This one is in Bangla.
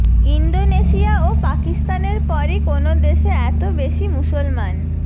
ইন্দোনেশিয়া ও পাকিস্তানের পরই কোনো দেশে এত বেশি মুসলমান